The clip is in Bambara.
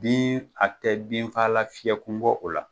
Ni a tɛ binfagalan fiyɛ kun bɔ o la.